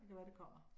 Det kan være det kommer